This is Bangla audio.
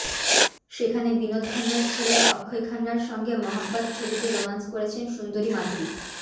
সেখানে বিনোদ খান্নার ছেলে অক্ষয় খান্নার সঙ্গে মহাব্বত ছবিতে রোম্যান্স করেছেন সুন্দরী মাধুরী